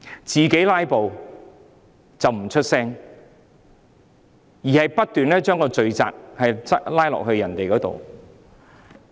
自己"拉布"不作聲，卻不斷將罪責推到別人身上。